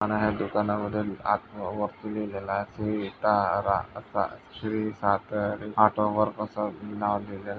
दुकान हा आणि दुकानामधे वरती लिहलेला हा श्री तारा श्री सातेरी ऑटो वर्क्स अस नाव लिहलेल--